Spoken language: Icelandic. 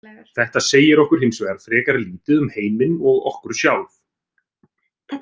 Þetta segir okkur hins vegar frekar lítið um heiminn og okkur sjálf.